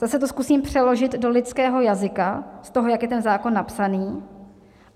Zase to zkusím přeložit do lidského jazyka z toho, jak je ten zákon napsaný.